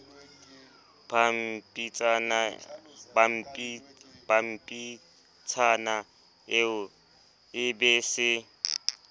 pampitshana eo e be se